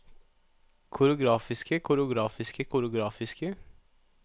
koreografiske koreografiske koreografiske